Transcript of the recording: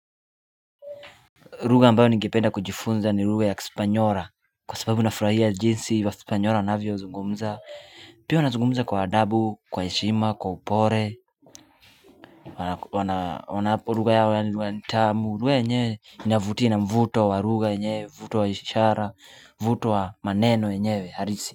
Lugha ambayo ningependa kujifunza ni lugha ya kispanyora Kwa sababu nafuraia jinsi wa kispanyora wanavyo zungumza Pia wanazungumza kwa adabu, kwa heshima, kwa upore wanapo ruga yao ya ni ruga ni tamu, uwe enyewe inavutii na mvuto wa ruga enyewe, vuto wa ishara, vuto wa maneno enyewe, halisi.